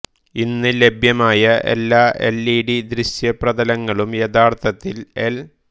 ഇന്ന് ലഭ്യമായ എല്ലാ എൽ ഇ ഡി ദൃശ്യ പ്രതലങ്ങളും യഥാർത്ഥത്തിൽ എൽ